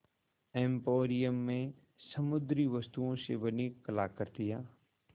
emporium में समुद्री वस्तुओं से बनी कलाकृतियाँ